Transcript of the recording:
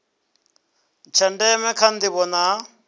tsha ndeme kha ndivho na